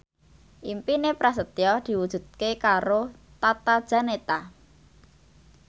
impine Prasetyo diwujudke karo Tata Janeta